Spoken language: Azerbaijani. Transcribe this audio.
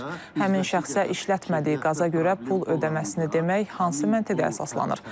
Həmin şəxsə işlətmədiyi qaza görə pul ödəməsini demək hansı məntiqə əsaslanır?